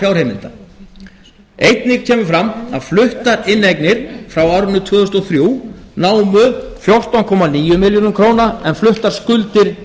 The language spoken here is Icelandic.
fjárheimilda einnig kemur fram að fluttar inneignir frá árinu tvö þúsund og þrjú námu fjórtán komma níu milljörðum króna en fluttar skuldir